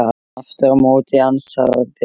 Aftur á móti ansaði hinn